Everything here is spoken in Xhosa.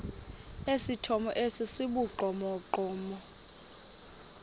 esithomo esi sibugqomogqomo